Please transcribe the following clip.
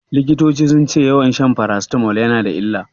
Likitoci sun ce yawan shan farasitamol yana da illa.